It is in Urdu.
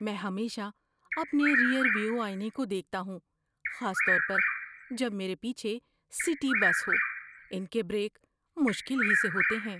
میں ہمیشہ اپنے ریئر ویو آئینے کو دیکھتا ہوں، خاص طور پر جب میرے پیچھے سٹی بس ہو۔ ان کے بریک مشکل ہی سے ہوتے ہیں۔